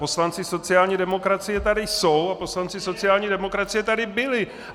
Poslanci sociální demokracie tady jsou a poslanci sociální demokracie tady byli.